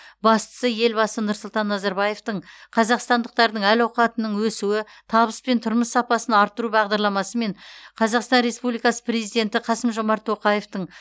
бастысы елбасы нұрсұлтан назарбаевтың қазақстандықтардың әл ауқатының өсуі табыс пен тұрмыс сапасын арттыру бағдарламасы мен қазақстан республикасы президенті қасым жомарт тоқаевтың